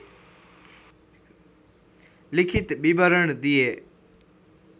लिखित विवरण दिए